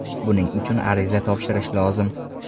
Buning uchun ariza topshirish lozim.